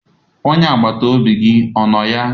Onye agbata obi gị ọ nọ ya?